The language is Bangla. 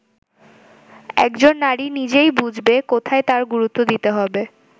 একজন নারী নিজেই বুঝবে কোথায় তার গুরুত্ব দিতে হবে”।